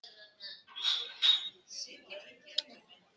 Eftir tapið í dag minnkaði forskot liðsins í öðru sætinu.